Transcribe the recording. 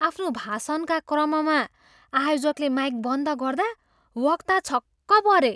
आफ्नो भाषणका क्रममा आयोजकले माइक बन्द गर्दा वक्ता छक्क परे।